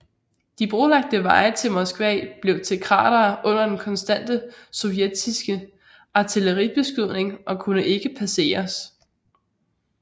De brolagte veje til Moskva blev til kratere under den konstante sovjetiske artilleribeskydning og kunne ikke passeres